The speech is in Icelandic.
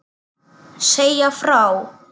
Segja frá.